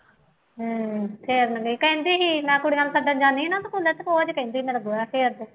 ਹੂੰ ਫੇਰਨ ਗਈ ਕਹਿੰਦੀ ਇਹਨਾ ਕੁੜੀਆਂ ਨੂੰ ਸੱਦਣ ਜਾਂਦੀ ਨਾ ਅਤੇ ਨਿੱਤ ਕਹਿੰਦੀ ਮੇਰਾ ਗੋਹਾ ਫੇਰ ਦੇ